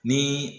Ni